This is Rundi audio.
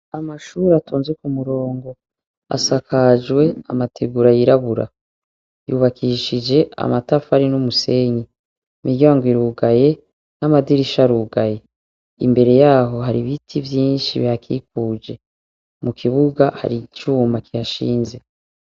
Amashure atonze k'umurongo asakajwe amategura yirabura, yubakishije amatafari n'umusenyi, imiryango irugaye, n'amadirisha arugaye, imbere yaho har'ibiti vyinshi bihakikuje, mukibuga har'icuma kihashinze.